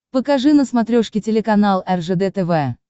покажи на смотрешке телеканал ржд тв